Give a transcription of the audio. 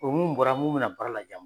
U mun bɔra mun bɛna baara lajan